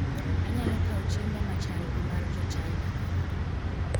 Anyalo kao chiemba machal gi mar jo chaina karang'o